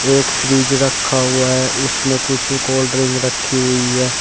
एक फ्रिज रखा हुआ है उसमें कुछ कोल्ड ड्रिंक रखी हुई है।